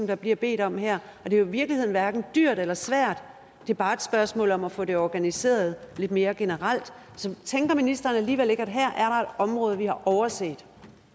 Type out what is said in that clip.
der bliver bedt om her og det er i virkeligheden hverken dyrt eller svært det er bare et spørgsmål om at få det organiseret lidt mere generelt så tænker ministeren alligevel ikke at her er område vi har overset